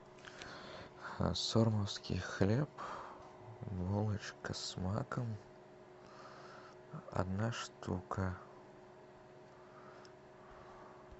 сормовский хлеб булочка с маком одна штука